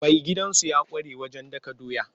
Mai girkin gidansu ya ƙware wajen dakan doya.